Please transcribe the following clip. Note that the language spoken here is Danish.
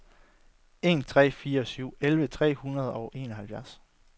en tre fire syv elleve tre hundrede og enoghalvfjerds